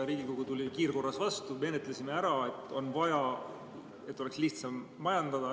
Riigikogu tuli kiirkorras vastu, menetlesime ära, et oleks lihtsam asju majandada.